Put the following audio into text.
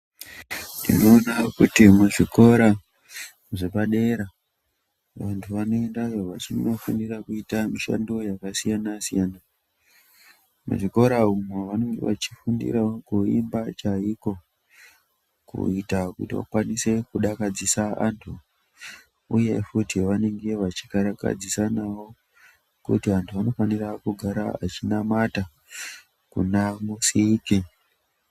Tinoona kuti muzvikora zvepadera vantu vanoendayp vachinofundira kuita mishando yakasiyana siyana. Muzvikora umu vanenge vachifundirawo kuimba chaiko kuita kiti vakwanise kudakadzisa antu uye futi vanenge vachikarakadzanisawo kuti antu anofana kugara achinamata kunaMusiki.